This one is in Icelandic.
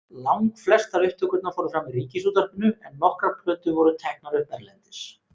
Langflestar upptökurnar fóru fram í Ríkisútvarpinu en nokkrar plötur voru teknar upp erlendis.